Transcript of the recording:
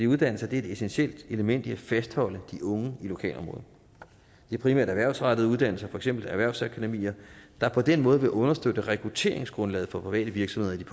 uddannelser er et essentielt element i at fastholde de unge i lokalområdet det er primært erhvervsrettede uddannelser for eksempel erhvervsakademier der på den måde vil understøtte rekrutteringsgrundlaget for private virksomheder i